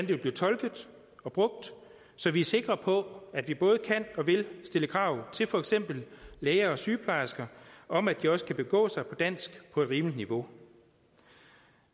vil blive tolket og brugt så vi er sikre på at vi både kan og vil stille krav til for eksempel læger og sygeplejersker om at de også kan begå sig på dansk på et rimeligt niveau